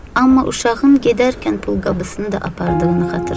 Amma uşağın gedərkən pulqabısını da apardığını xatırladı.